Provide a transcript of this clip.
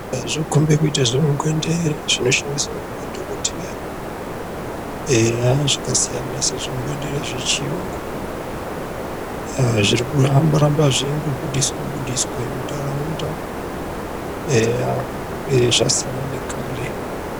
Zvinokhombe kuite zvimungendere zvinoshandiswa ngemadhokotera eya zvakasiyana zvimungwendere zvechiyungu agh zvirikungoramba zveindobudiswa muntaraunda izvi zvasiyana nekare.